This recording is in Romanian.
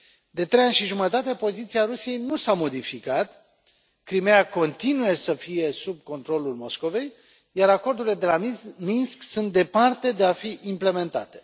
De trei ani și jumătate poziția Rusiei nu s a modificat, Crimeea continuă să fie sub controlul Moscovei, iar acordurile de la Minsk sunt departe de a fi implementate.